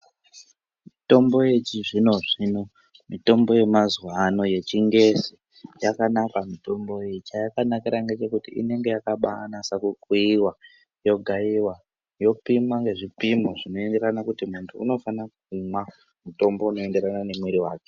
Mitombo yechizvino zvino, mitombo yemazuwano yechingezi yakanaka mitombo iyi, chayakanakira ngechekuti inenge yakabanasa kukuyiwa , yogaiwa , yopimwa nezvipimo zvinoenderana kuti muntu unofanira kumwa mutombo unoenderana nemwiri wake.